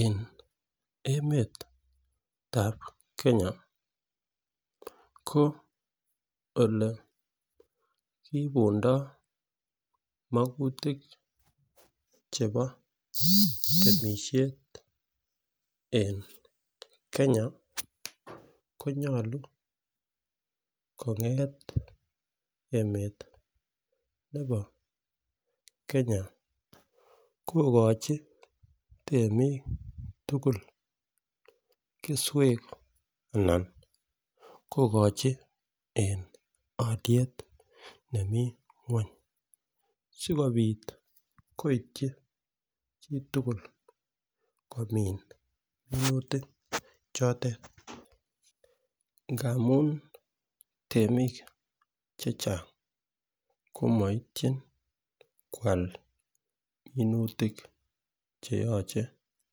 En emetab Kenya ko ole kiibundo mokutik chebo temishet en Kenya konyolu konget emet nebo Kenya kokochi temik tukuk keswek anan kokochi en oliet nemii ngweny sikopit koityi chitukul komin minutik chotet ngamun temik chechang komoityin kwal minutik kwak cheyoche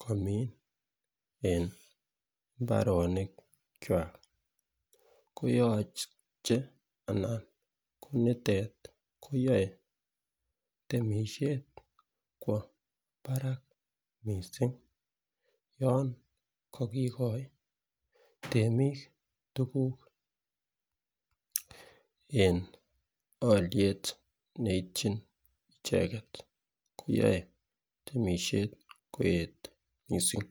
kin en imbarenik kwak, koyoche konitet koyoe temishet kwo barak missing yon ko kikoit temik tukuk en oliet neityin icheket koyoe temishet koet missing.